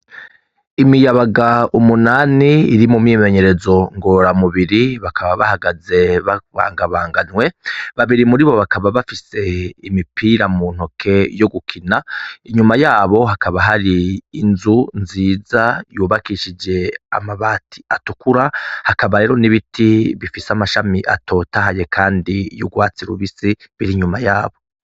Imiyabaga umunani iri mu myimenyerezo nkora umubiri bakaba bahagaze bakabaganwe babiri muribo bakaba bafise imipira mu ntoke yo gukina inyuma yabo hakaba hari inzu nziza yubakishijwe amabati atukura hakabaho n'ibiti bifise amashami atotahaye kandi y'urwatsi rubisi ruri inyuma yabo.